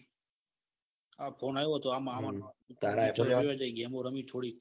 આ ફોન તો મહા નો તારે જઈએ થોડું ગેમો રમી થોડી.